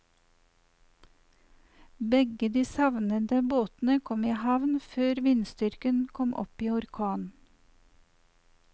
Begge de savnede båtene kom i havn før vindstyrken kom opp i orkan.